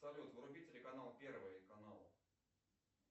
салют вруби телеканал первый канал